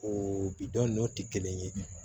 O bi dɔn n'o tɛ kelen ye